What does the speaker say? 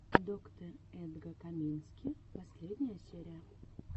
доктэ эдга камински последняя серия